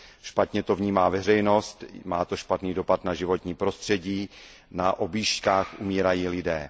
Špatně to vnímá veřejnost, má to špatný dopad na životní prostředí, na objížďkách umírají lidé.